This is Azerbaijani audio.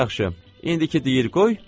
Yaxşı, indiki deyir qoy.